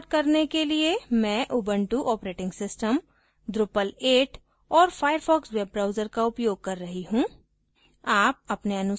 इस tutorial को record करने के लिए मैं